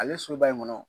Ale subahana